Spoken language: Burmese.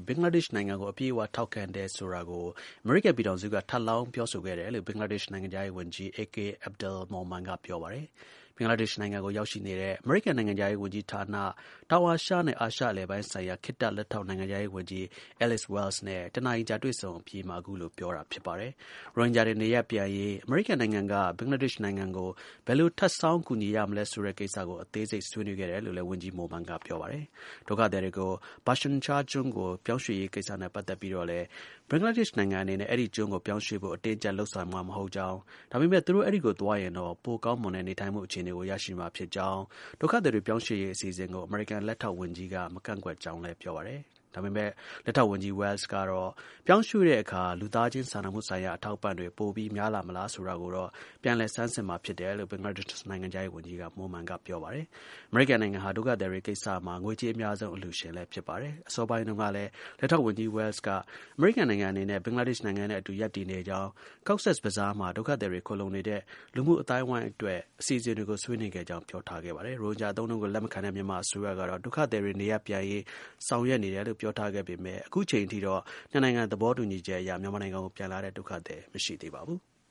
ဘင်္ဂလားဒေ့ရှ်နိုင်ငံကို အပြည့်အ၀ ထောက်ခံတယ်ဆိုတာကို ထပ်လောင်း ပြောဆိုခဲ့တယ်လို့ ဘင်္ဂလားဒေ့ရှ် နိုင်ငံခြားရေးဝန်ကြီး AK Abdul Momen က ပြောပါတယ်။ ဘင်္ဂလားဒေ့ရှ်နိုင်ငံကို ရောက်ရှိနေတဲ့ အမေရိကန် နိုင်ငံခြားရေးဝန်ကြီးဌာန၊ တောင်အာရှနဲ့ အာရှအလယ်ပိုင်းဆိုင်ရာ ခေတ္တ လက်ထောက်နိုင်ငံခြားရေးဝန်ကြီး Alice Wells နဲ့ ၁ နာရီကြာ တွေ့ဆုံဆွေးနွေးအပြီးမှာ အခုလို ပြောတာဖြစ်ပါတယ်။ ရိုဟင်ဂျာတွေ နေရပ်ပြန်ရေး အမေရိကန်နိုင်ငံက ဘင်္ဂလားဒေ့ရှ်နိုင်ငံကို ဘယ်လို ထပ်ဆောင်း ကူညီရမလဲဆိုတဲ့ကိစ္စကို အသေးစိတ် ဆွေးနွေးခဲ့တယ်လို့လည်း ဝန်ကြီး Momen က ပြောပါတယ်။ ဒုက္ခသည်တွေကို Bhashan Char ကျွန်းကို ပြောင်းရွှေ့ရေးကိစ္စနဲ့ ပတ်သက်ပြီးတော့လည်း ဘင်္ဂလားဒေ့ရှ်နိုင်ငံအနေနဲ့ အဲဒီကျွန်းကိုပြောင်းရွှေ့ဖို့ အတင်းအကျပ် လုပ်ဆောင်မှာ မဟုတ်ကြောင်း၊ ဒါပေမဲ့ သူတို့ အဲဒီကိုသွားရင်တော့ ပိုကောင်းမွန်တဲ့ နေထိုင်မှုအခြေအနေကို ရရှိမှာ ဖြစ်ကြောင်းလည်း ပြောပါတယ်။ ဒုက္ခသည်တွေ ပြောင်းရွှေ့ရေးအစီအစဉ်ကို အမေရိကန် လက်ထောက်ဝန်ကြီးက မကန့်ကွက် ဘူးလို့လည်း ဆိုပါတယ်။ ဒါပေမဲ့ လက်ထောက်ဝန်ကြီး Wells ကတော့ ပြောင်းရွှေ့တဲ့အခါ လူသားချင်းစာနာမှုဆိုင်ရာ အထောက်အပံ့တွေ ပိုပြီး များလာမလား ဆိုတာကိုတော့ ပြန်လည် ဆန်းစစ်မှာဖြစ်တယ်လို့ ဘင်္ဂလားဒေ့ရှ်နိုင်ငံခြားရေးဝန်ကြီး Momen ကို ပြောပါတယ်။ အမေရိကန်နိုင်ငံဟာ ဒုက္ခသည်တွေကိစ္စမှာ ငွေကြေးအများဆုံး အလှူရှင်လည်း ဖြစ်ပါတယ်။ အစောပိုင်းတုန်းကလည်း လက်ထောက်ဝန်ကြီး Wells က အမေရိကန်နိုင်ငံအနေနဲ့ ဘင်္ဂလားဒေ့ရှ်နိုင်ငံနဲ့အတူ ရပ်တည်နေကြောင်း၊ Cox’s Bazar မှာ ဒုက္ခသည်တွေ ခိုလှုံနေတဲ့ လူမှုအဝန်းအဝိုင်းအတွက် အစီအစဉ်တွေကို ဆွေးနွေးခဲ့ကြောင်း ပြောကြားထားပါတယ်။ ရိုဟင်ဂျာ အသုံးအနှုန်းကို လက်မခံတဲ့ မြန်မာအစိုးရကတော့ ဒုက္ခသည်တွေ နေရပ်ပြန်ရေး ဆောင်ရွက်နေတယ်လို့ ပြောထားပါတယ်။ အခုအချိန်အထိတော့ နှစ်နိုင်ငံ သဘောတူညီချက် အရ မြန်မာနိုင်ငံကိုပြန်လာတဲ့ ဒုက္ခသည် မရှိသေးပါဘူး။